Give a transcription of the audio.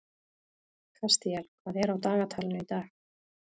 Kastíel, hvað er á dagatalinu í dag?